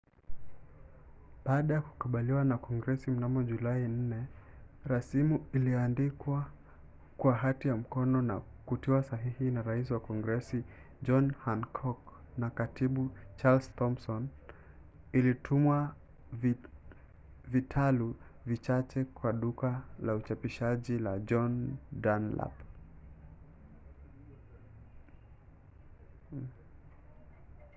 baada ya kukubaliwa na kongresi mnamo julai 4 rasimu iliyoandikwa kwa hati ya mkono na kutiwa sahihi na rais wa kongresi john hancock na katibu charles thomson ilitumwa vitalu vichache kwa duka la uchapishaji la john dunlap